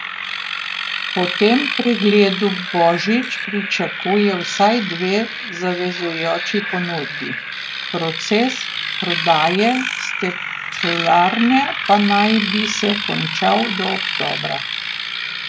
Po tem pregledu Božič pričakuje vsaj dve zavezujoči ponudbi, proces prodaje steklarne pa naj bi se končal do oktobra.